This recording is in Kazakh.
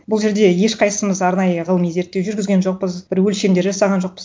бұл жерде ешқайсымыз арнайы ғылыми зерттеу жүргізген жоқпыз бір өлшемдер жасаған жоқпыз